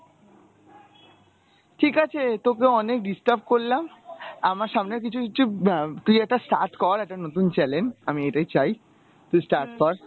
ঠিক আছে তোকে অনেক disturb করলাম। আমার সামনে কিছু আহ তুই একটা start কর একটা নতুন channel আমি এটাই চাই তুই start কর